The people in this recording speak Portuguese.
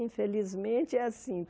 Infelizmente é assim.